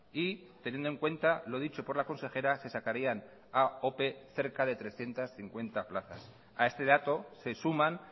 y teniendo en cuenta lo dicho por la consejera se sacarían a ope cerca de trescientos cincuenta plazas a este dato se suman